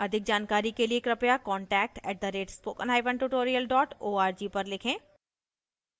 अधिक जानकारी के लिए कृपया contact @spokentutorial org पर लिखें